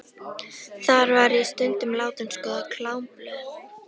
Þar var ég stundum látin skoða klámblöð.